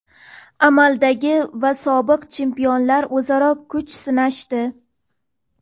Amaldagi va sobiq chempionlar o‘zaro kuch sinashdi.